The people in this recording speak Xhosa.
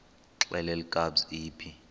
xelel kabs iphi